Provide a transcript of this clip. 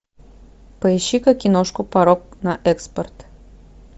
поищи ка киношку порок на экспорт